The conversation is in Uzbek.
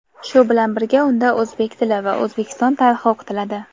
shu bilan birga unda o‘zbek tili va O‘zbekiston tarixi o‘qitiladi.